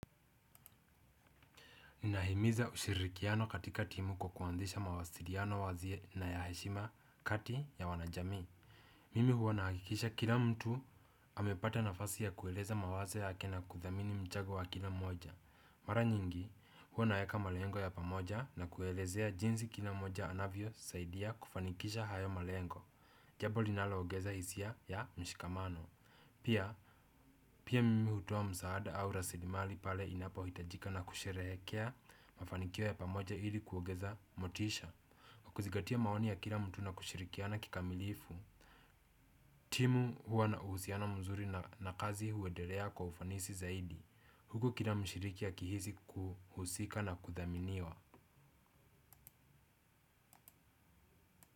Nahimiza ushirikiano katika timu kwa kuanziisha mawasiliano wazi na ya heshima kati ya wanajamii. Mimi huwa nahakikisha kila mtu amepata nafasi ya kueleza mawazo yake na kuthamini mchago wa kila moja. Mara nyingi huwa naeaka malengo ya pamoja na kuelezea jinsi kila moja anavyosaidia kufanikisha hayo malengo. Jabo linalogeza hisia ya mshikamano. Pia, pia mimi hutoa msaada au rasilimali pale inapohitajika na kusherekea mafanikio ya pamoja ili kuogeza motisha. Kukuzigatia maoni ya kila mtu na kushirikiana kikamilifu. Timu huwa na uhusiana mzuri na kazi huendelea kwa ufanisi zaidi. Huku kila mshiriki akihisi kuhusika na kuthaminiwa.